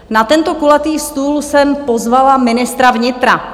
Na tento kulatý stůl jsem pozvala ministra vnitra.